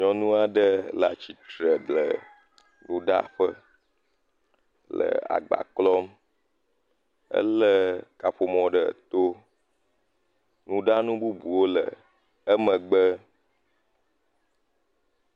Nyɔnu aɖe le atsitre le nuɖaƒe le agba klɔm. ele kaƒomɔ ɖe to. Nuɖanu bubuwo le emegbe.